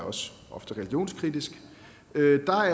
ofte religionskritisk